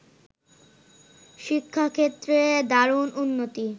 শিক্ষাক্ষেত্রে দারুণ উন্নতি